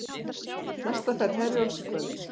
Næsta ferð Herjólfs í kvöld